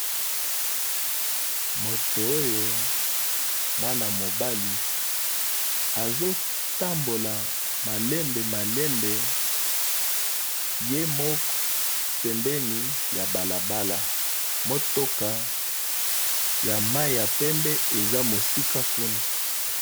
Moto oyo mwana mobali azo tambola malembe malembe ye moko pembeni ya balabala . Motuka ya mayi ya pembe eza mosika kuna .